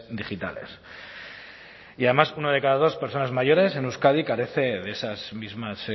digitales y además una de cada dos personas mayores en euskadi carece de esas mismas